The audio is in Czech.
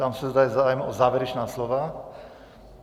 Ptám se, zda je zájem o závěrečná slova.